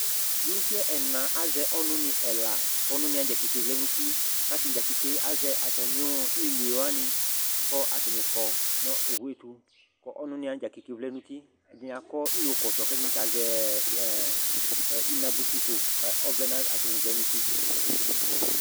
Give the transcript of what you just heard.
Kpolusi ɛna azɛ ɔnʋnɩ ɛla kʋ ɔnʋnɩ dza keke vlɛ nʋ uti kʋ atanɩ dza keke azɛ atamɩ iluie wanɩ kʋ atanɩ kɔ nʋ owu yɛ tʋ kʋ ɔnʋnɩ wanɩ dza keke vlɛ nʋ uti Ɛdɩnɩ akɔ iyokɔtɔ kʋ ɛdɩnɩ ta azɛ ɛ ɛ inabuitiko kʋ ɔvlɛ nʋ atanɩ vlɛ nʋ uti